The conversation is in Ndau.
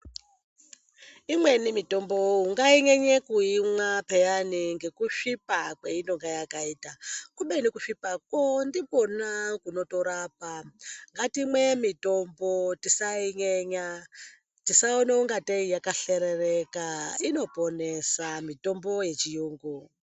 Imweni mitombo ungainyenye kuimwa pheyani ngekusvipa kweinonga yakaita. Kubeni kusvipako ndikona kunotorapa. Ngatimwe mitombo tisainyenya. Tisaone ungatei yakahlerereka, inoponesa mitombo yechiyungu.